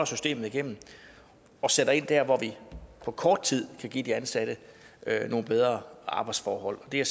systemet igennem og sætter ind der hvor vi på kort tid kan give de ansatte nogle bedre arbejdsforhold det er